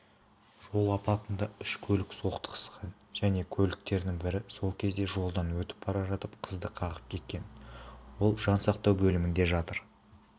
жол апатында үш көлік соқтығысқан және көліктердің бірі сол кезде жолдан өтіп бара жатқан қызды қағып кеткен ол жансақтау бөлімінде жатыр